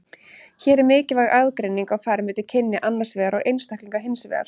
Hér er mikilvæg aðgreining á ferð milli kynja annars vegar og einstaklinga hins vegar.